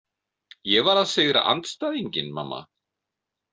Ég var að sigra andstæðinginn, mamma.